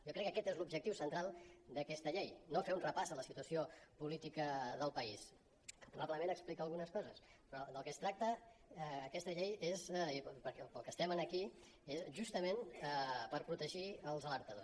jo crec que aquest és l’objectiu central d’aquesta llei no fer un repàs de la situació política del país que probablement explica algunes coses però del que es tracta en aquesta llei i per al que estem en aquí és justament per protegir els alertadors